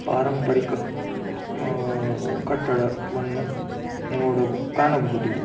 ಪಾರಂಪರಿಕ ಮ್ ಆಹ್ ಕಟ್ಟಡವನ್ನು ನೋಡು ಕಾಣಬಹುದು. .